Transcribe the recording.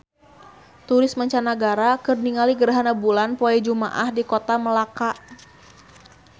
Turis mancanagara keur ningali gerhana bulan poe Jumaah di Kota Melaka